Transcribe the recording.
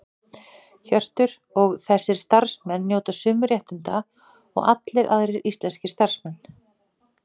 Hjörtur: Og þessir starfsmenn njóta sömu réttinda og allir aðrir íslenskir starfsmenn?